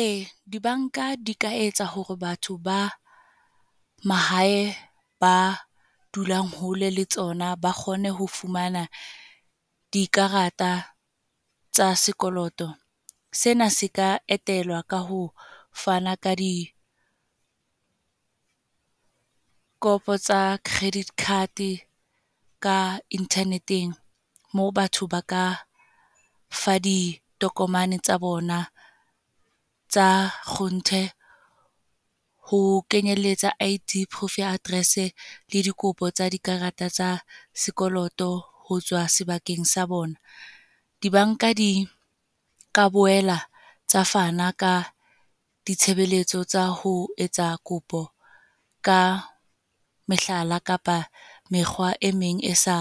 Ee, di-bank-a di ka etsa hore batho ba mahae, ba dulang hole le tsona ba kgone ho fumana dikarata tsa sekoloto. Sena se ka etelwa ka ho fana ka dikopo tsa credit card ka internet-eng. Moo batho ba ka fa ditokomane tsa bona tsa kgonthe. Ha ho kenyelletsa I_D, Proof ya Address le dikopo tsa dikarata tsa sekoloto, hotswa sebakeng sa bona. Di-bank-a di ka boela tsa fana ka ditshebeletso tsa ho etsa kopo ka mehlala kapa mekgwa e meng e sa,